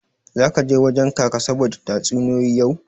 Zaka je wajen Kaka saboda tatsuniyoyi yau?